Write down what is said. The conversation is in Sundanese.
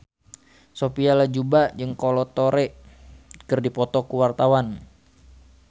Sophia Latjuba jeung Kolo Taure keur dipoto ku wartawan